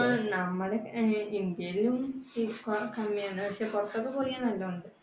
പുറത്തൊക്കെ പോയാൽ നല്ലതാണ്